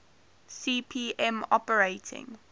cp m operating